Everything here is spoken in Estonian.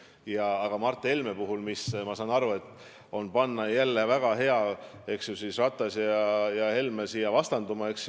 Mis puutub Mart Helmesse, siis ma saan ju aru, et on väga hea Ratas ja Helme vastanduma panna.